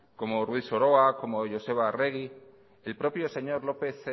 como ruiz soroa como joseba arregi el propio señor lópez